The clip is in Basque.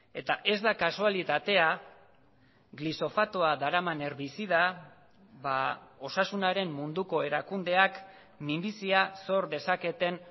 eta ez da kasualitatea glisofatoa daraman herbizida osasunaren munduko erakundeak minbizia zor dezaketen